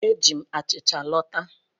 Eji m achịcha lọta.